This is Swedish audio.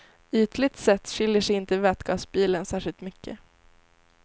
Ytligt sett skiljer sig inte vätgasbilen särskilt mycket.